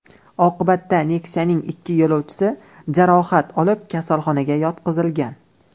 Oqibatda Nexia’ning ikki yo‘lovchisi jarohat olib, kasalxonaga yotqizilgan.